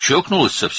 Tamamilə dəli olub.